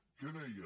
què deia